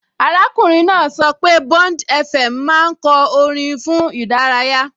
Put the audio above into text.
Arákùnrin náà sọ pé BondFM máa ń kọ orin fún ìdárayá